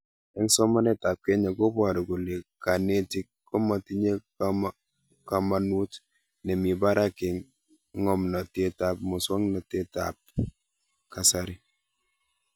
Eng' somanet ab Kenya koparu kole kanetik kamatinye kamanut nemii parak eng' ng'omnatet ab muswog'natet abb kasari